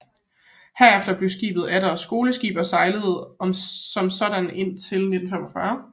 Herefter blev skibet atter skoleskib og sejlede som sådant indtil 1945